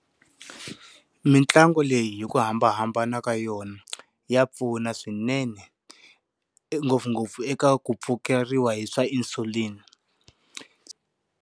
Mintlangu leyi hi ku hambanahambana ka yona ya pfuna swinene, ngopfungopfu eka ku pfukeriwa hi swa insulin.